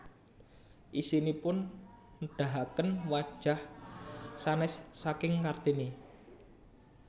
Isinipun nedahaken wajah sanès saking Kartini